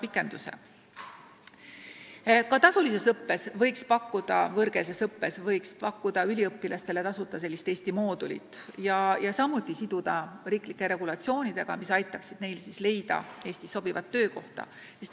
Ka tasulises võõrkeelses õppes võiks tudengitele pakkuda tasuta Eesti moodulit ja siduda seda riiklike regulatsioonidega, mis aitaksid neil leida Eestis sobivat töökohta.